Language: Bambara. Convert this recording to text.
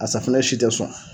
A safinɛ si tɛ sɔn.